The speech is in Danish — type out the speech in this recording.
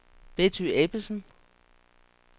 Betty Ebbesen